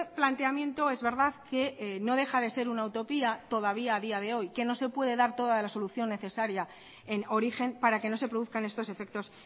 planteamiento es verdad que no deja de ser una utopía todavía a día de hoy que no se puede dar toda la solución necesaria en origen para que no se produzcan estos efectos